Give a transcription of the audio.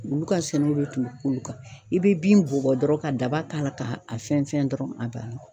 Olu ka sɛnɛw de tun bɛ k'olu kan , i bɛ bin bɔ dɔrɔnw ka daba k'a la ka a fɛn fɛn dɔrɔn a banna.